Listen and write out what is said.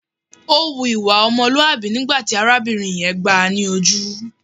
Ó hu ìwà ọmọlúàbí nígbà tí arábìnrin yẹn gbáà ni ojú.